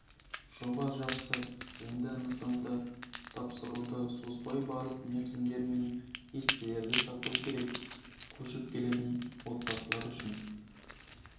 жоба жақсы енді нысандарды тапсыруды созбай барлық мерзімдер мен кестелерді сақтау керек көшіп келетін отбасылар үшін